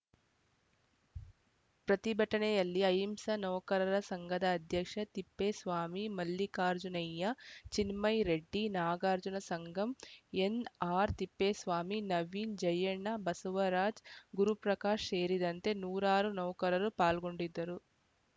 ಪ್ರತಿಭಟನೆಯಲ್ಲಿ ಅಹಿಂಸಾ ನೌಕರರ ಸಂಘದ ಅಧ್ಯಕ್ಷ ತಿಪ್ಪೇಸ್ವಾಮಿ ಮಲ್ಲಿಕಾರ್ಜುನಯ್ಯ ಚಿನ್ಮಯ ರೆಡ್ಡಿ ನಾಗರಾಜ್‌ ಸಂಗಂ ಎನ್‌ಆರ್‌ ತಿಪ್ಪೇಸ್ವಾಮಿ ನವೀನ್‌ ಜಯಣ್ಣ ಬಸವರಾಜ್ ಗುರುಪ್ರಕಾಶ್‌ ಸೇರಿದಂತೆ ನೂರಾರು ನೌಕರರು ಪಾಲ್ಗೊಂಡಿದ್ದರು